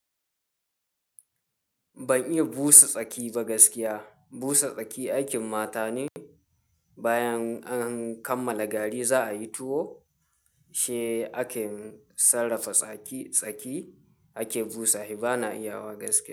Ban iya busa tsaki ba gaskiya. Busa tsaki aikin mata ne. Bayan an kammala gari za'ayi tuwo shi ake sarrafa tsaki tsaki ake busashi. Bana iyawa gaskiya.